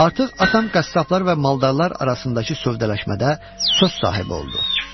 Artıq atam qəssablar və maldarlar arasındakı sövdələşmədə söz sahibi oldu.